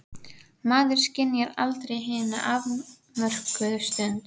Maður skynjar aldrei hina afmörkuðu stund.